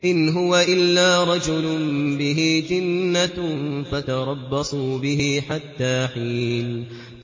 إِنْ هُوَ إِلَّا رَجُلٌ بِهِ جِنَّةٌ فَتَرَبَّصُوا بِهِ حَتَّىٰ حِينٍ